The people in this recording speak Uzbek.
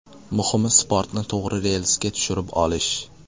Muhimi sportni to‘g‘ri relsga tushirib olish.